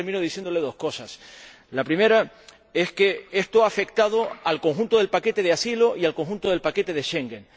Por eso, termino diciéndole dos cosas. La primera es que esto ha afectado al conjunto del paquete de asilo y al conjunto del paquete de Schengen.